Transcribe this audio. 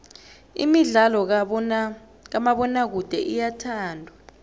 imidlalo kamabonakude iyathandwa